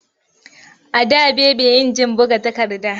A da baby injin buga takarda.